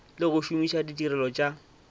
le go šomiša ditirelo tša